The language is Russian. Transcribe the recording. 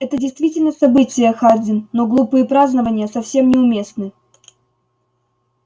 это действительно событие хардин но глупые празднования совсем не уместны